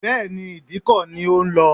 Bẹ́ẹ̀ni, ìdíkọ̀ ni ó ń lọ